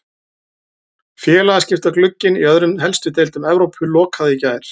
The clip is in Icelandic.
Félagaskiptaglugginn í öðrum helstu deildum Evrópu lokaði í gær.